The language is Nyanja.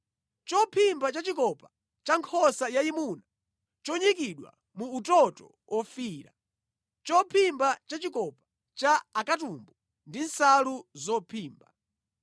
chophimba cha chikopa cha nkhosa yayimuna chonyikidwa mu utoto ofiira, chophimba cha chikopa cha akatumbu ndi nsalu zophimba;